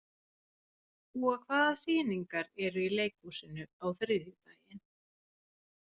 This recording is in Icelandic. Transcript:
Gúa, hvaða sýningar eru í leikhúsinu á þriðjudaginn?